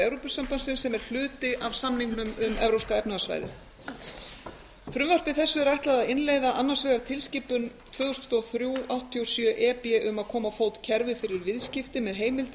evrópusambandsins sem er hluti af samningnum um evrópska efnahagssvæðið frumvarpi þessu er ætlað að innleiða annars vegar tilskipun tvö þúsund og þrjú áttatíu og sjö e b um að koma á fót kerfi fyrir viðskipti með heimildir